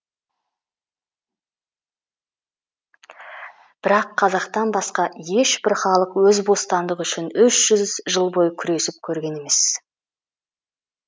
бірақ қазақтан басқа ешбір халық өз бостандығы үшін үш жүз жыл бойы күресіп көрген емес